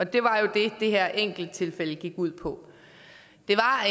det var jo det det her enkelttilfælde gik ud på det var